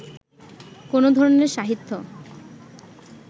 কোন ধরনের সাহিত্য